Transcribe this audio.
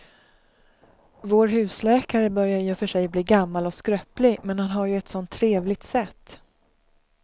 Vår husläkare börjar i och för sig bli gammal och skröplig, men han har ju ett sådant trevligt sätt!